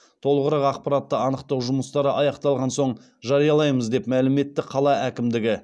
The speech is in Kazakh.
толығырақ ақпаратты анықтау жұмыстары аяқталған соң жариялаймыз деп мәлім етті қала әкімдігі